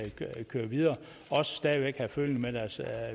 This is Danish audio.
køre videre og stadig væk have føling med deres